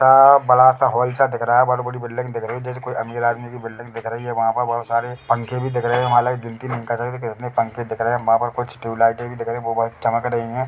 यहाँ बड़ा सा हॉल सा दिख रहा है बहोत बड़ी बिल्डिंग दिख रही है जैसे कोई अमीर आदमी की बिल्डिंग दिख रही है वहाँ पर बहोत सारे पंखे भी दिख रहे है पंखे दिख रहे है वहाँ पर कुछ ट्यूबलाइटे भी दिख रहे है वो बहोत चमक रही है।